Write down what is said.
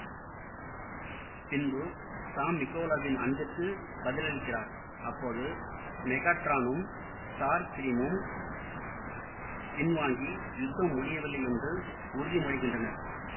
பின்பு சாம் மிகேலாவின் அன்பிற்கு பதிலளிக்கிறார் அப்போது மெகாட்ரானும் ஸ்டார்ஸ்கிரீமும் பின்வாங்கி யுத்தம் முடிவடையவில்லையென்று உறுதிமொழிகின்றனர்